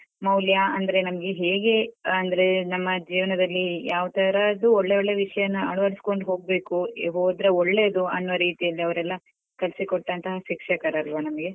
ಮೌಲ್ಯ ಅಂದ್ರೆ ನಮ್ಗೆ ಹೇಗೆ ಅಂದ್ರೆ ನಮ್ಮ ಜೀವನದಲ್ಲಿ ಯಾವತರದು ಒಳ್ಳೊಳ್ಳೆ ವಿಷಯನ್ನ ಅಳವಡಿಸಿಕೊಂಡು ಹೋಗ್ಬೇಕು ಹೋದ್ರೆ ಒಳ್ಳೇದು ಅನ್ನುವ ರೀತಿಯಲ್ಲಿ ಅವ್ರೆಲ್ಲಾ ಕಳ್ಸಿಕೊಟ್ಟಂತಹ ಶಿಕ್ಷಕರೆಲ್ವಾ ನಮ್ಗೆ.